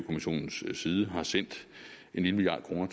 kommissionens side har sendt en lille milliard kroner